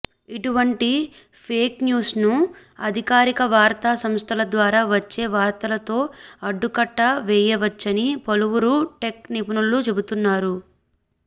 ఇటువంటి ఫేక్ న్యూస్ను అధికారిక వార్తా సంస్థల ద్వారా వచ్చే వార్తలతో అడ్డుకట్ట వేయవచ్చని పలువురు టెక్ నిపుణులు చెబుతున్నారు